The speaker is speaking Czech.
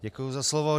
Děkuji za slovo.